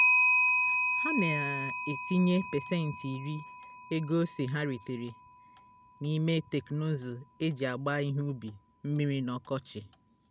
ha na-etinyechi pasentị iri ego ose ha retara n'ime teknụzụ e ji agba ihe ubi mmiri n'ọkọchị